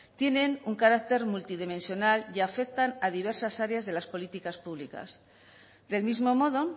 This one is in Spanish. tienen un carácter multidimensional y afectan a diversas áreas de las políticas públicas del mismo modo